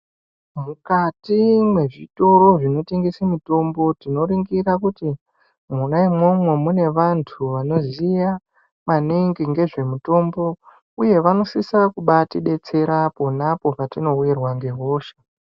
Mukati mwezvitoro zvinotengese mitombo, tinoringira kuti mwona imwomwo mune vantu vanoziya, maningi ngezvemutombo, uye vanosisa kubaatidetsera pona apo patinowirwa ngehosha.